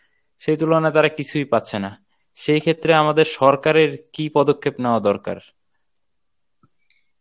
সেই তুলনায় তারা কিছুই পাচ্ছে না. সেইক্ষেত্রে আমাদের সরকারের কী পদক্ষেপ নেওয়া দরকার?